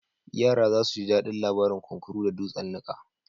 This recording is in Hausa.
Yara za su ji daɗin labarin kunkuru da dutsen niƙa.